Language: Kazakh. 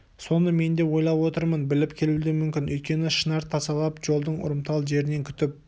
соны мен де ойлап отырмын біліп келуі де мүмкін өйткені шынар тасалап жолдың ұрымтал жерінен күтіп